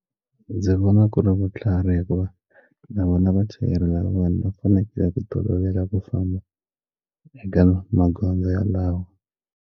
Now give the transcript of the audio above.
Ndzi vona ku ri vutlhari hikuva na vona vachayeri lavan'wana va fanekele ku tolovela ku famba eka magondzo ya lawa.